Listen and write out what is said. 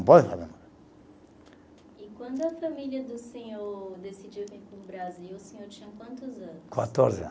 E quando a família do senhor decidiu vir para o Brasil o senhor tinha quantos anos? Quatorze ano